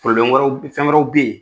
wɛrɛw fɛn wɛrɛw bɛ ye.